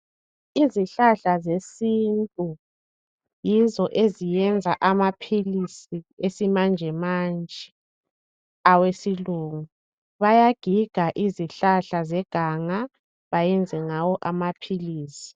Izihlahla zesintu yizo eziyenza amaphilisi esimanjemanje. Awesilungu. Bayagiga izihlahla zeganga. Bayenze ngawo amaphilisi.